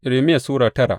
Irmiya Sura tara